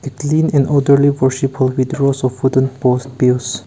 clean and orderly force a with rows of wooden post peels.